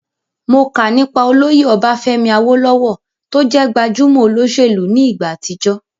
Mo kà nípa olóyè Ọbafẹ́mi Awólówọ̀ tó jẹ́ gbajúmọ̀ olóṣèlú ní ìgbà àtijọ́